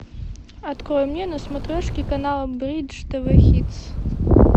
открой мне на смотрешке канал бридж тв хитс